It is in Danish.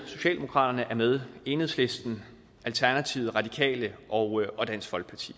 socialdemokratiet enhedslisten alternativet radikale og og dansk folkeparti